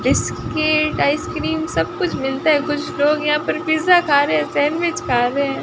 Biscuit ice cream सब कुछ मिलता हैं कुछ लोग यहां पर पिज्जा खा रहे है सैंडविच खा रहे हैं।